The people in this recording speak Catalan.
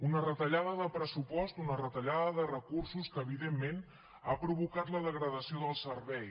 una retallada de pressupost una retallada de recursos que evidentment ha provocat la degradació del servei